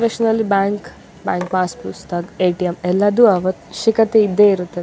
ಸ್ ನಲ್ಲಿ bank pass ಪುಸ್ತಕ್ ಎ.ಟಿ.ಎಮ್ ಎಲ್ಲದು ಅವಶ್ಯಕತೆ ಇದ್ದೆ ಇರುತ್ತೆ --